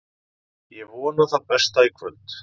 Ég vona það besta í kvöld.